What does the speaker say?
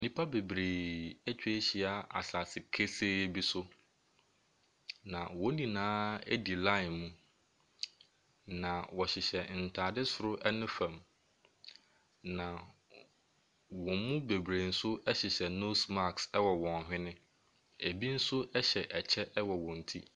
Nnipa bebree atwa ahyia asase kesee bi so. Wɔn nyinaa di line mu. Na wɔhyehyɛ ntaade soro ne fam. Na wɔn mu bebree nso hyehyɛ nose mask wɔ wɔn hwene. Ebi nso hyɛ kyɛ wɔ wɔn ti.